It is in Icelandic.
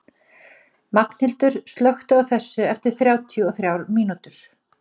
Magnhildur, slökktu á þessu eftir þrjátíu og þrjár mínútur.